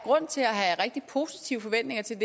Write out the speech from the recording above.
rigtig positive forventninger til